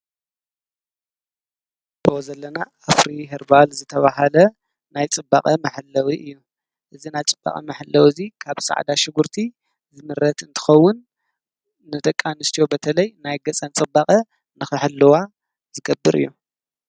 በኡ ዘለና ኣፍሪ ሄርባል ዘተብሃለ ናይ ጽባቐ መሓለዊ እዩ እዚ ና ፅባቐ መሕለዊ እዙይ ካብ ፃዕዳ ሽንጕርቲ ዝምረት እንትኸውን ነደቂ ኣንስትዮ በተለይ ናይ ገፀን ፅባቐ ንኽሕልዋ ዝገብር እዩ